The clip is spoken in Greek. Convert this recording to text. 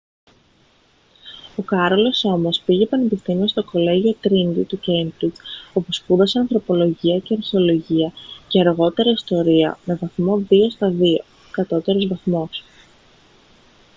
o κάρολος όμως πήγε πανεπιστήμιο στο κολλέγιο τρίνιτι του κέιμπριτζ όπου σπούδασε ανθρωπολογία και αρχαιολογία και αργότερα ιστορία με βαθμό 2:2 κατώτερος βαθμός